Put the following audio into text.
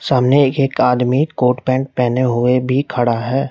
सामने एक एक आदमी कोट पैंट पहने हुए भी खड़ा है।